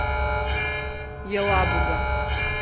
елабуга